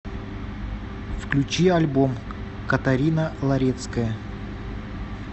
включи альбом катарина ларецкая